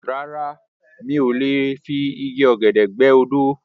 Rárá mi ò lè mi igi ọ̀gẹ̀dẹ̀ gbẹ́ odó